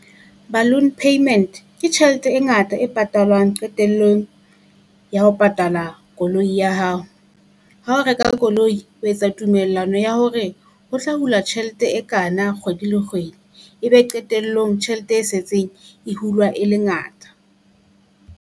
Balloon payment, ke tjhelete e ngata e patalwang qetellong ya ho patala koloi ya hao. Ha o reka koloi o etsa tumellano ya hore ho tla hula tjhelete e kana kgwedi le kgwedi, ebe qetellong tjhelete e setseng e hulwa e le ngata.